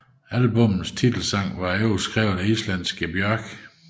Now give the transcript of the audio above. Albummets titelsang var i øvrigt skrevet af islandske Björk